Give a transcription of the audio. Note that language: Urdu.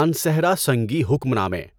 مانسہرہ سنگی حکم نامے